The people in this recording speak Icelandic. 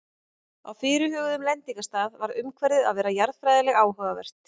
Á fyrirhuguðum lendingarstað varð umhverfið að vera jarðfræðilega áhugavert.